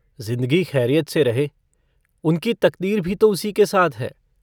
जिन्दगी खैरियत से रहे उनकी तकदीर भी तो उसी के साथ है।